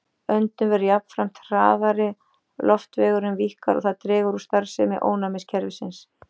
Öndun verður jafnframt hraðari, loftvegurinn víkkar og það dregur úr starfsemi ónæmiskerfisins.